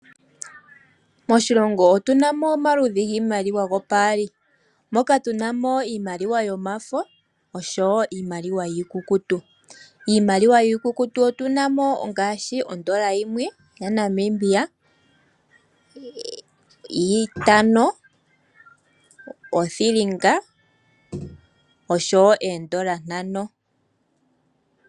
Moshilongo otunamo omaludhi giimaliwa yopaali, moka tunamo iimaliwa yomafo oshowo iimaliwa iikukutu. Iimaliwa iikukutu otuna mo ngashi ondola yimwr ya Namibia, itano, othilinga osho woo oondola ntano.